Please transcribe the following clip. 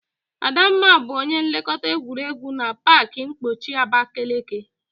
Adamma bu onye nlekọta egwuregwu na pak mkpọchi Abakeleke.